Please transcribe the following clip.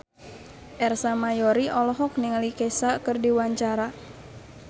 Ersa Mayori olohok ningali Kesha keur diwawancara